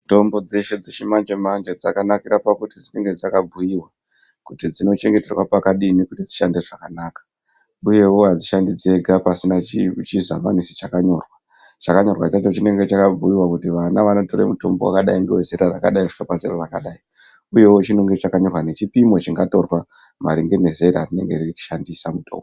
Mitombo dzeshe dzechimanje-manje dzakanaka dzakanakira pakuti dzinenge dzakakuiva kuti dzinochengeterwa pakadini kuti dzishande zvakanaka. Uyevo hadzishandi dzega pasina chisamanisi chakanyorwa chinyorwa chacho chinenge chakabhuiva kuti vana vanotora mutombo vakadai ngevezera rakadai kusvika pazera rakadai, uyevo chinenge chakanyorwa ngechipimo chingatorwa maringe ngezera rinenge reishandisa mutombo.